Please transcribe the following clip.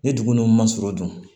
Ni dugu ninnu ma surun dun